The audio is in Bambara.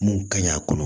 Mun ka ɲi a kɔnɔ